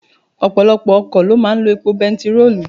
Ọ̀pọ̀lọpọ̀ ọkọ̀ lọ máa ń lọ epo bẹntiróòlù.